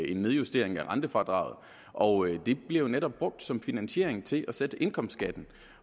en nedjustering af rentefradraget og det bliver jo netop brugt som finansiering til at sætte indkomstskatten